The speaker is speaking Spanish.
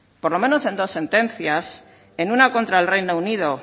por lo menos en dos sentencias en una contra el reino unido